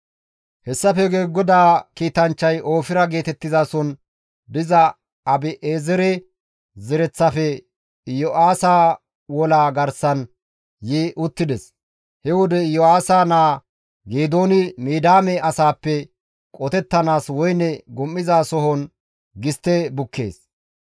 Hessafe guye GODAA kiitanchchay Oofira geetettizason diza Abi7eezere zereththafe Iyo7aasa wolaa garsan yi uttides; he wode Iyo7aasa naa Geedooni Midiyaame asaappe qotettanaas woyne gum7izasohon gistte bukkees.